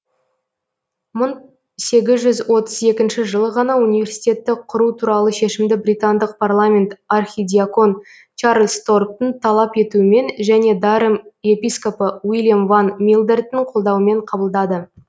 мың сегіз жүз отыз екінші жылы ғана университетті құру туралы шешімді британдық парламент архидьякон чарльз торптың талап етуімен және дарем епископы уильям ван милдерттің қолдауымен қабылдады